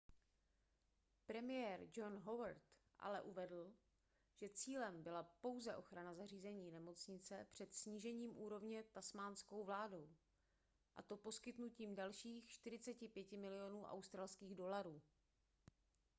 premiér john howard ale uvedl že cílem byla pouze ochrana zařízení nemocnice před snížením úrovně tasmánskou vládou a to poskytnutím dalších 45 milionů aud